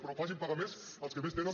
però facin pagar més als que més tenen